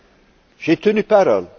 Oui, j'ai tenu parole.